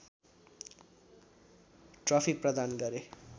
trophy प्रदान गरे